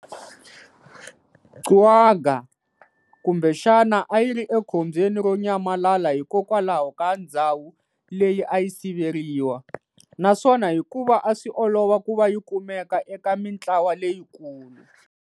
Quagga kumbexana ayiri ekhombyeni ro nyamalala hikokwalaho ka ndzhawu leyi ayi siveriwa, naswona hikuva aswi olova kuva yikumeka eka mintlawa leyikulu.